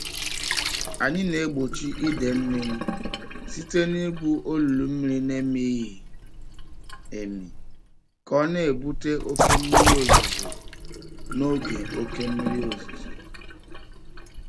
Anyị na-egbochi idei mmiri site n'igwu olulu mmiri na-emighị emi ka ọ na-ebute oke mmiri ozuzo n'oge oke mmiri ozuzo.